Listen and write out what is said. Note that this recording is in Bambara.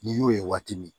N'i y'o ye waati min